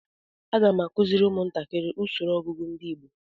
Aga m akụziri ụmụntakiri usoro ọgụgụ ndi igbo